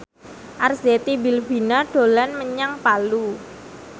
Arzetti Bilbina dolan menyang Palu